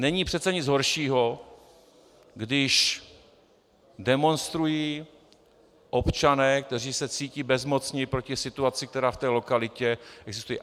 Není přece nic horšího, když demonstrují občané, kteří se cítí bezmocní proti situaci, která v té lokalitě existuje.